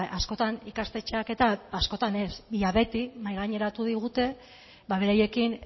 askotan ikastetxeak eta askotan ez ia beti mahaigaineratu digute beraiekin